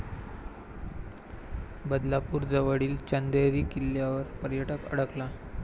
बदलापूरजवळील चंदेरी किल्ल्यावर पर्यटक अडकला